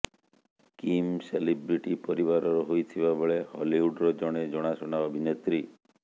Kim celebrity ପରିବାରର ହୋଇଥିବା ବେଳେ ହଲିଉଡ୍ ର ଜଣେ ଜଣାଶୁଣା ଅଭିନେତ୍ରୀ